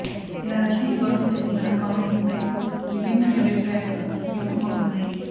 ఇలా రష్మి గౌటమ్ చేసిన కామెంట్స్పై విభిన్న అభిప్రాయాలు వ్యక్తం అవుతున్నాయి